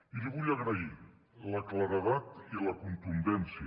i li vull agrair la claredat i la contundència